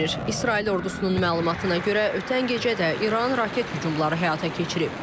İsrail ordusunun məlumatına görə ötən gecə də İran raket hücumları həyata keçirib.